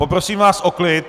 Poprosím vás o klid.